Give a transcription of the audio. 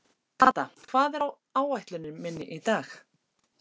Kata, hvað er á áætluninni minni í dag?